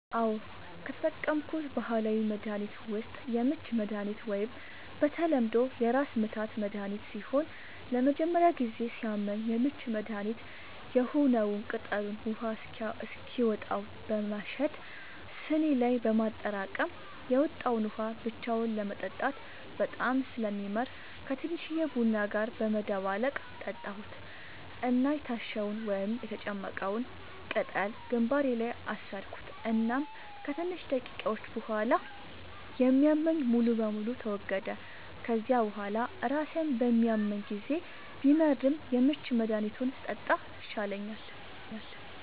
አዎ, ከተጠቀምኩት ባህላዊ መድሀኒት ዉስጥ የምች መድሃኒት ወይም በተለምዶ የራስምታት መድሀኒት ሲሆን ለመጀመሪያ ጊዜ ሲያመኝ የምች መድሀኒት የሆነዉን ቅጠሉን ውሃ እስኪወጣው በማሸት ስኒ ላይ በማጠራቀም የወጣዉን ውሃ ብቻውን ለመጠጣት በጣም ስለሚመር ከቲንሽዬ ቡና ጋር በመደባለቅ ጠጣሁት እና የታሸዉን (የተጨመቀዉን ፈ)ቅጠል ግንባሬ ላይ አሰርኩት እናም ከትንሽ ደቂቃዎች ቡሃላ የሚያመኝ ሙሉ በሙሉ ተወገደ፤ ከዚያ ቡሃላ ራሴን በሚያመኝ ጊዜ ቢመርም የምች መድሃኒቱን ስጠጣ ይሻለኛል።